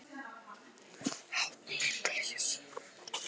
Talnabandið mettar hjartað gleði.